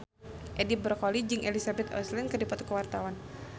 Edi Brokoli jeung Elizabeth Olsen keur dipoto ku wartawan